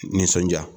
Nisɔndiya